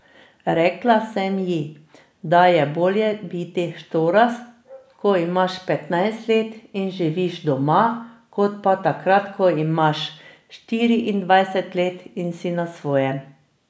Rekla sem ji, da je bolje biti štorast, ko imaš petnajst let in živiš doma, kot pa takrat, ko imaš štiriindvajset let in si na svojem.